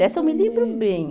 Dessa eu me lembro bem.